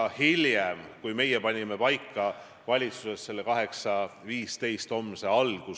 Minu küsimuse genereeris tegelikult teie kehakeel ajal, kui peaminister ütles korduvalt, et prokuratuur on sõltumatu, poliitiliselt kallutamatu.